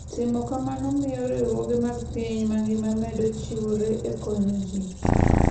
Timo kamano miyo riwruoge mag piny mangima medo chiwore e konyo ji.